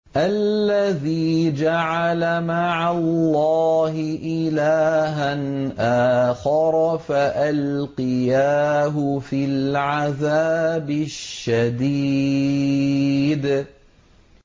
الَّذِي جَعَلَ مَعَ اللَّهِ إِلَٰهًا آخَرَ فَأَلْقِيَاهُ فِي الْعَذَابِ الشَّدِيدِ